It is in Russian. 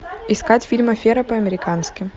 искать фильм афера по американски